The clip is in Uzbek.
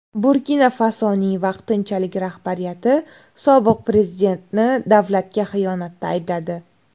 Burkina-Fasoning vaqtinchalik rahbariyati sobiq prezidentni davlatga xiyonatda aybladi.